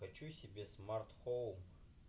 хочу себе смартфон